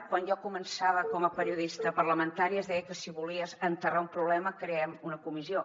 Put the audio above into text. quan jo començava com a periodista parlamentària es deia que si volies enterrar un problema creem una comissió